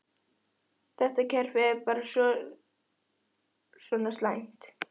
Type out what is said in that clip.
Þetta kerfi er bara svona næmt.